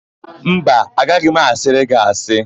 Mba, agaghị m asịrị gị asị.